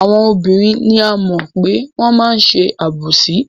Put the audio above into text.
Àwọn obìnrin ni a mọ̀ pé wọ́n máa ń ṣe àbòsí.